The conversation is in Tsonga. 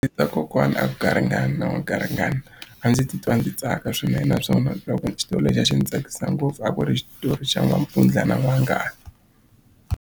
Ndzi twa kokwana a ku garingani wa garingani a ndzi titwa ndzi tsaka swinene naswona loko xitori lexi a xi ndzi tsakisa ngopfu a ku ri xitori xa n'wampfundla na n'wanghala.